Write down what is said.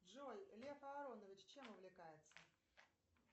джой лев аронович чем увлекается